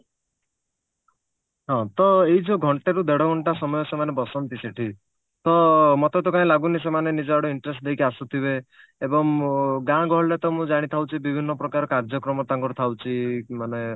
ହଁ ତ ଏଇ ଯଉ ଘଣ୍ଟେରୁ ଦେଢ ଘଣ୍ଟା ସମୟ ସେମାନେ ବସନ୍ତି ସେଠି ତ ମୋତେ ତ କାଇଁ ଲାଗୁନି ସେମାନେ ନିଜ ଆଡୁ interest ଦେଇକି ଆସୁଥିବେ ଏବଂ ଗାଁ ଗହଳିରେ ତ ମୁଁ ଜାଣିଥାଉଛି ବିଭିନ୍ନ ପ୍ରକାର କାର୍ଯ୍ୟକ୍ରମ ତାଙ୍କର ଥାଉଛି ମାନେ